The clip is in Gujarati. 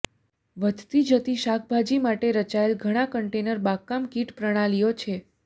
વધતી જતી શાકભાજી માટે રચાયેલ ઘણા કન્ટેનર બાગકામ કીટ પ્રણાલીઓ છે